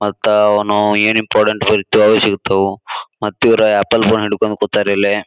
ಮತ್ತ ಅವನು ಎನ್ ಇಂಪಾರ್ಟೆಂಟ್ ಇದ್ದವೊ ಸಿಗ್ತವು ಮತ್ತ ಇವರು ಆಪಲ್ ಫೋನ್ ಹಿಡ್ಕೊಂಡ್ ಕೂತಾರ ಇಲ್ಲೆ.